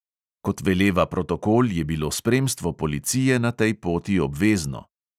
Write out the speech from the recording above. Kot veleva protokol, je bilo spremstvo policije na tej poti obvezno.